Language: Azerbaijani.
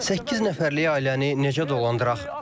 Səkkiz nəfərlik ailəni necə dolandıraq?